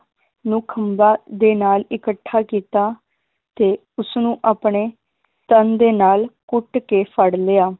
ਨੂੰ ਖੰਭਾਂ ਦੇ ਨਾਲ ਇਕੱਠਾ ਕੀਤਾ ਤੇ ਉਸਨੂੰ ਆਪਣੇ ਤਨ ਦੇ ਨਾਲ ਘੁੱਟ ਕੇ ਫੜ ਲਿਆ,